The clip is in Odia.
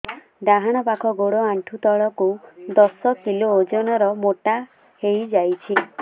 ଡାହାଣ ପାଖ ଗୋଡ଼ ଆଣ୍ଠୁ ତଳକୁ ଦଶ କିଲ ଓଜନ ର ମୋଟା ହେଇଯାଇଛି